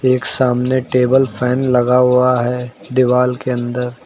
एक सामने table fan लगा हुआ है दीवाल के अंदर।